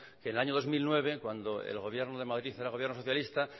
que en el año dos mil nueve cuando el gobierno de madrid era gobierno socialista